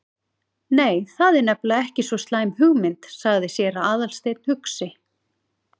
Nei, það er nefnilega ekki svo slæm hugmynd- sagði séra Aðalsteinn hugsi.